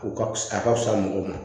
U ka fisa a ka fisa mɔgɔw ma